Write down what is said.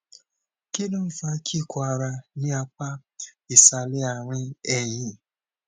kí ló ń fa kíkọ ara ní apá ìsàlẹ àárín ẹyìn